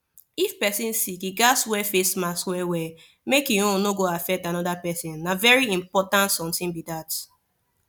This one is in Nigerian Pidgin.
if person sick e gats wear face mask well well make him own no go affect another person na very important something be that